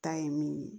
Ta ye min ye